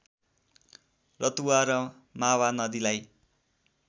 रतुवा र मावा नदीलाई